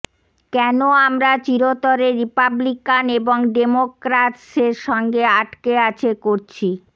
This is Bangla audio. কেন আমরা চিরতরে রিপাবলিকান এবং ডেমোক্রাতস সঙ্গে আটকে আছে করছি